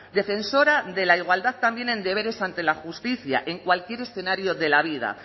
defensora de la igualdad también en deberes ante la justicia en cualquier escenario de la vida